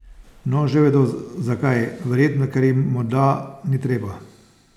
No, že vedo, zakaj, verjetno ker jim morda ni treba?